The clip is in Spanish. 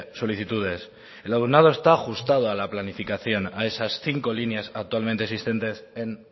solicitudes el alumnado está ajustado a la planificación a esas cinco líneas actualmente existentes en